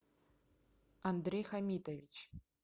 андрей хамитович